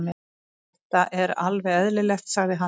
Þetta er alveg eðlilegt, sagði hann.